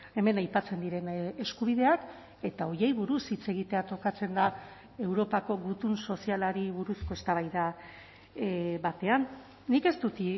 hemen aipatzen diren eskubideak eta horiei buruz hitz egitea tokatzen da europako gutun sozialari buruzko eztabaida batean nik ez dut